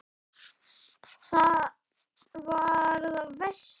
Það var það versta.